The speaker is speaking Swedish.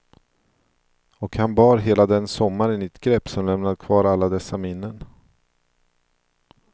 Och han bar hela den sommaren i ett grepp som lämnade kvar alla dessa minnen.